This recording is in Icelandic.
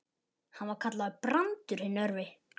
Hann var kallaður Brandur hinn örvi.